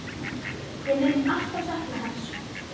Við munum alltaf sakna hans.